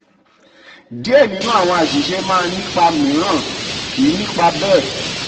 díẹ̀ nínú àwọn àṣìṣe máa ní ipa míìrán kì í ní ipa bẹ́ẹ̀.